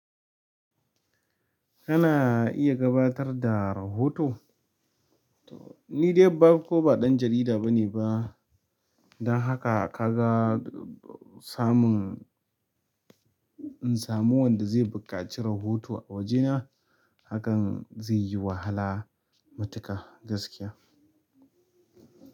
Kana iya gabatar da rahoto? Ni dai farko ba ɗan jarida bane ba. Don haka kaga samun in samu wanda zai bukaci rahoto a wajena hakan zai yi wahala matuƙa gaskiya.